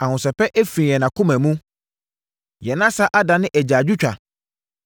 Ahosɛpɛ afiri yɛn akoma mu; yɛn asa adane agyaadwotwa.